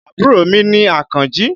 Àbúrò mi ni Àkànjí.